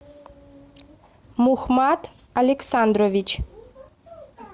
мухмад александрович